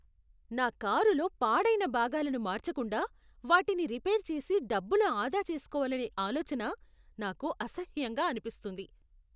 నా కారులో పాడైన భాగాలను మార్చకుండా, వాటిని రిపేర్ చేసి డబ్బులు ఆదా చేస్కోవాలనే ఆలోచన నాకు అసహ్యంగా అనిపిస్తుంది.